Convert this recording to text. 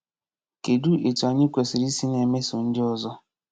Kedụ etu anyị kwesịrị isi na-emeso ndị ọzọ?